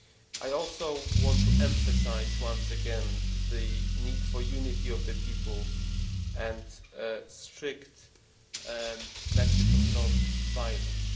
I also want to emphasise once again the need for unity of the people and a strict message of non violence.